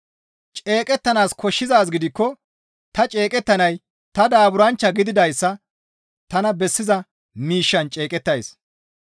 Ceeqettanaas koshshizaaz gidikko ta ceeqettanay ta daaburanchcha gididayssa tana bessiza miishshan ceeqettays.